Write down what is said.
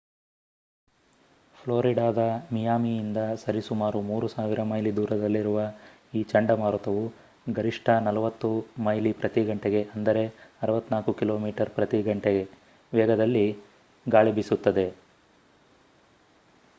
ಫ್ಲೋರಿಡಾದ ಮಿಯಾಮಿಯಿಂದ ಸರಿಸುಮಾರು 3,000 ಮೈಲಿ ದೂರದಲ್ಲಿರುವ ಈ ಚಂಡಮಾರುತವು ಗರಿಷ್ಠ 40 ಮೈ/ಗಂ 64 ಕಿಮೀ/ಗಂ ವೇಗದಲ್ಲಿ ಗಾಳಿ ಬೀಸುತ್ತದೆ